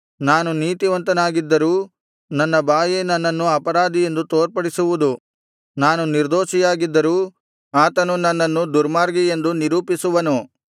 ನಾನು ನೀತಿವಂತನಾಗಿದ್ದರೂ ನನ್ನ ಬಾಯೇ ನನ್ನನ್ನು ಅಪರಾಧಿಯೆಂದು ತೋರ್ಪಡಿಸುವುದು ನಾನು ನಿರ್ದೋಷಿಯಾಗಿದ್ದರೂ ಆತನು ನನ್ನನ್ನು ದುರ್ಮಾರ್ಗಿಯೆಂದು ನಿರೂಪಿಸುವನು